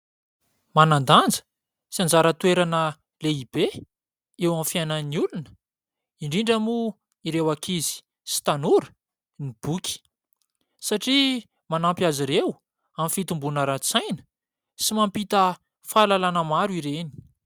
Manan-danja sy anjara toerana lehibe eo amin'ny fiainan'ny olona indrindra moa ireo ankizy sy tanora ny boky. Satria manampy azy ireo amin'ny fitomboana aran-tsaina sy mampita fahalalana maro ireny.